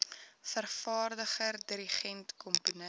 vervaardiger dirigent komponis